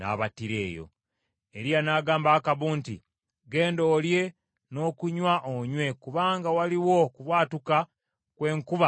Eriya n’agamba Akabu nti, “Genda olye, n’okunywa onywe; kubanga waliwo okubwatuka kw’enkuba ey’amaanyi.”